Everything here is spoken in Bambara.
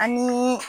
Anii